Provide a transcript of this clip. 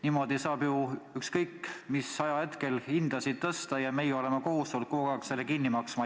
Niimoodi saab ju ükskõik mis ajahetkel hindasid tõsta ja meie oleme kohustatud kogu aeg selle kinni maksma.